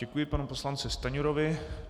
Děkuji panu poslanci Stanjurovi.